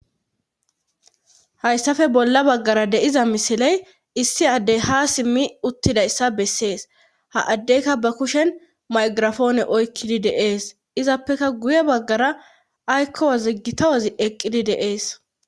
hayssafe bolla baggara de'iza misiley issi addey ha simmi uttidayissa bessees ha addeyka ba kushen maygirafoone oykkidi deees izappeka guye baggara aykkoa ziggita wazi eqqidi de'ees